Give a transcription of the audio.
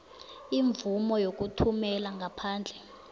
imvumo yokuthumela ngaphandle